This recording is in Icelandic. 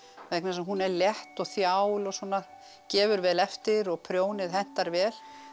vegna þess að hún er létt og þjál og svona gefur vel eftir og prjónið hentar vel